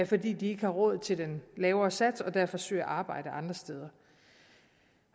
fordi de ikke har råd til den lavere sats og derfor søger arbejde andre steder